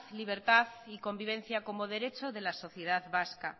libertad y convivencia como derecho de la sociedad vasca